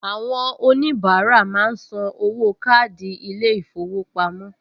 Àwọn oníbàárà máa ń san owó káàdì ilé-ìfowópamọ́